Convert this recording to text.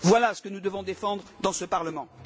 Voilà ce que nous devons défendre dans ce Parlement.